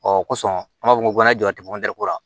Ɔ kosɔn an b'a fɔ ko mana jɔ a tɛ la